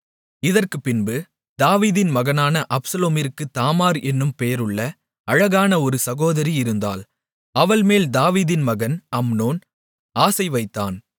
இதற்குப்பின்பு தாவீதின் மகனான அப்சலோமிற்குத் தாமார் என்னும் பெயருள்ள அழகான ஒரு சகோதரி இருந்தாள் அவள்மேல் தாவீதின் மகன் அம்னோன் ஆசை வைத்தான்